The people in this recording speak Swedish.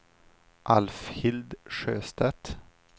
Alfhild Sjöstedt